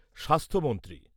স্বাস্থ্যমন্ত্রী